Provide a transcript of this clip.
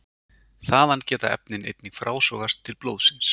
Þaðan geta efnin einnig frásogast til blóðsins.